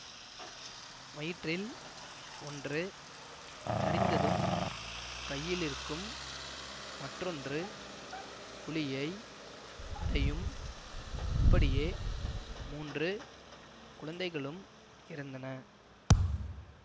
வயிற்றில் ஒன்று தரிந்ததும் கையிலிருக்கும் மற்றொன்று குழியை அடையும்இப்படியே மூன்று குழந்தைகளும் இறந்தன